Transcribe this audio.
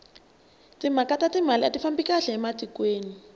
timhaka ta timali ati fambi kahle etikweni